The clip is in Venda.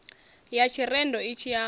ya tshirendo itshi i amba